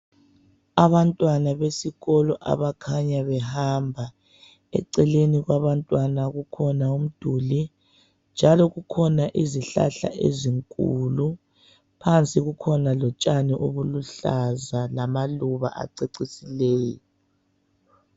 Abantwana besikolo abakhanya behamba eceleni kwabantwana kukhona umduli njalo kukhona izihlahla ezinkulu phanzi kukhona utshani obuluhlaza lamaluba acecisileyo